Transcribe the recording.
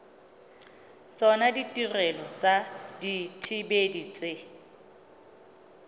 tsona ditirelo tsa dithibedi tse